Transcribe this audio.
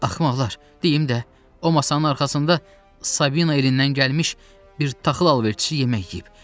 Axmaqlar, deyim də, o masanın arxasında Sabina elindən gəlmiş bir taxıl alverçisi yemək yiyib.